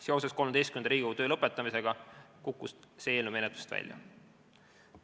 Seoses XIII Riigikogu töö lõppemisega kukkus see eelnõu menetlusest välja.